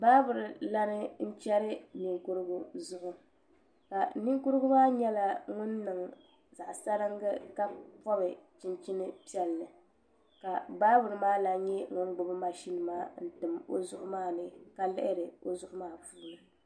Baabirin lan n chɛri ninkurigu zuɣu ninkurigu maa nyɛla ŋun niŋ zaɣ saringi ka bob chinchin piɛlli ka baabirin maa lan nyɛ ŋun gbubi mashin maa n tim o zuɣu maa ni ka lihiri o zuɣu maa puuni